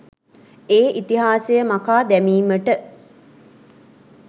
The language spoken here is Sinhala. ඒ ඉතිහාසය මකා දැමීමට